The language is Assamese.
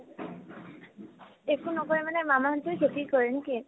একো নকৰে মানে মামাহতে খেতি কৰে নে কি ?